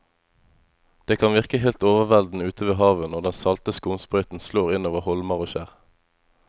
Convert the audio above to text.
Det kan virke helt overveldende ute ved havet når den salte skumsprøyten slår innover holmer og skjær.